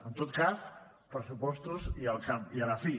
en tot cas pressupostos al cap i a la fi